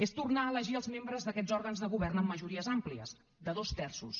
és tornar a elegir els membres d’aquests òrgans de govern amb majories àmplies de dos terços